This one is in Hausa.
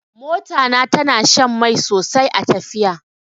Mota na tana shan mai sosai a tafiya.